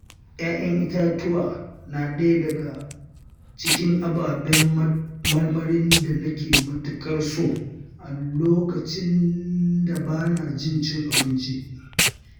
Ƴaƴan itatuwa na ɗaya daga cikin ababen marmarin da na ke matuƙar so a lokacin ba bana jin cin abinci.